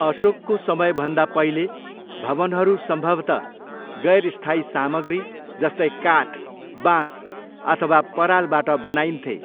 अशोकको समयभन्दा पहिले, भवनहरू सम्भवतः गैर स्थायी सामग्री, जस्तै काठ, बाँस अथवा परालबाट बनाइन्थे।